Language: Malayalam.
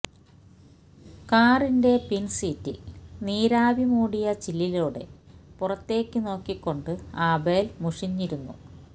കാറിന്റെ പിന്സീറ്റില് നീരാവി മൂടിയ ചില്ലിലൂടെ പുറത്തേക്ക് നോക്കിക്കൊണ്ട് ആബേല് മുഷിഞ്ഞിരുന്നു